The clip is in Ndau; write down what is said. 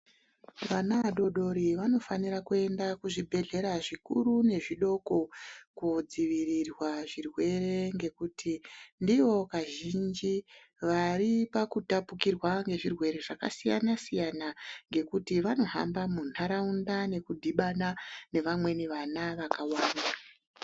Vana vadodori vanofanira kuenda kuzvibhedhlera zvikuru nezvidoko, Kodzivirirwa zvirwere ngekuti ndivo Kazhinji vari pakutapukirwa ngezvirwere zvakasiyana -siyana ngekuti vanohamba munharaunda nekudhibana nevamweni vana vakawanda.